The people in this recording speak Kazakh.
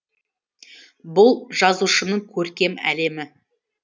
бұл жазушының көркем әлемі